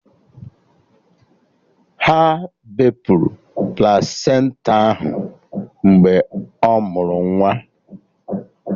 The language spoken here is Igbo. Ha bepụrụ plasenta ahụ mgbe ọ mụrụ nwa